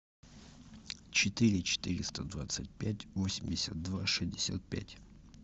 четыре четыреста двадцать пять восемьдесят два шестьдесят пять